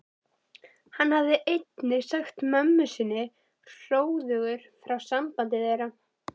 Hann hafði einnig sagt mömmu sinni hróðugur frá sambandi þeirra